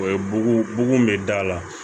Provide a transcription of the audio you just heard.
O ye bugu bugun be da la